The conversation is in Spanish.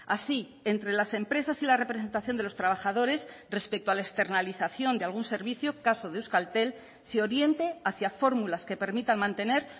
así entre las empresas y la representación de los trabajadores respecto a la externalización de algún servicio caso de euskaltel se oriente hacia fórmulas que permitan mantener